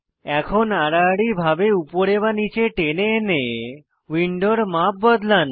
এখন আড়াআড়ি ভাবে উপরে বা নীচে টেনে এনে উইন্ডোর মাপ বদলান